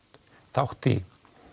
þátt í